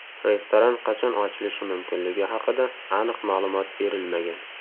Restoran qachon ochilishi mumkinligi haqida aniq ma’lumot berilmagan.